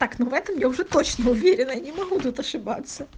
так ну в этом я уже точно уверена я не могу тут ошибаться